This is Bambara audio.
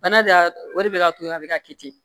Bana de o de bɛ ka to yen a bɛ ka kɛ ten